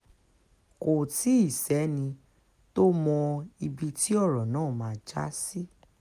kò tí ì sẹ́ni tó mọ ibi tí ọ̀rọ̀ náà máa já sí